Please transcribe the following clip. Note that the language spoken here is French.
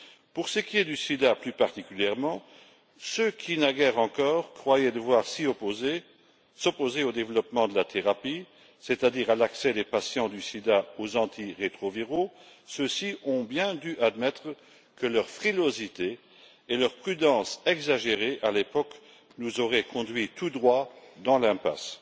Pour ce qui est du sida plus particulièrement, ceux qui, naguère encore, croyaient devoir s'opposer au développement de la thérapie, c'est à dire à l'accès des patients atteints du sida aux antirétroviraux, ont bien dû admettre que leur frilosité et leur prudence exagérées, à l'époque, nous auraient conduit tout droit dans l'impasse.